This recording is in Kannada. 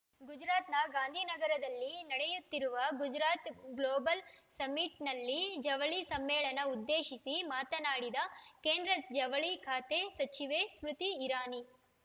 ಗುಜರಾತ್‌ನ ಗಾಂಧೀನಗರದಲ್ಲಿ ನಡೆಯುತ್ತಿರುವ ಗುಜರಾತ್‌ ಗ್ಲೋಬಲ್‌ ಸಮಿಟ್‌ನಲ್ಲಿ ಜವಳಿ ಸಮ್ಮೇಳನ ಉದ್ದೇಶಿಸಿ ಮಾತನಾಡಿದ ಕೇಂದ್ರ ಜವಳಿ ಖಾತೆ ಸಚಿವೆ ಸ್ಮೃತಿ ಇರಾನಿ